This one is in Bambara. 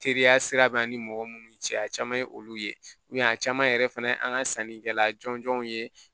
Teriya sira b'an ni mɔgɔ munnu cɛ a caman ye olu ye a caman yɛrɛ fana ye an ka sannikɛla jɔnjɔnw ye